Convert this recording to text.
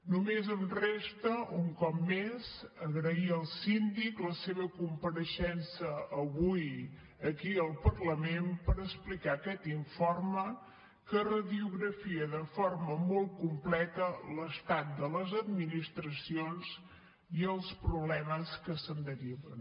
només em resta un cop més agrair al síndic la seva compareixença avui aquí al parlament per explicar aquest informe que radiografia de forma molt completa l’estat de les administracions i els problemes que se’n deriven